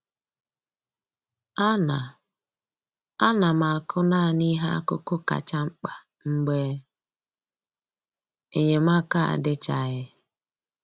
A na A na m akụ naanị ihe akụkụ kacha mkpa mgbe enyemaka adịchaghị